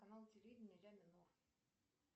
канал телевидения ля минор